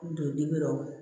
Don dibi la